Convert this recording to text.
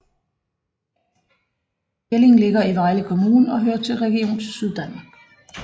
Jelling ligger i Vejle Kommune og hører til Region Syddanmark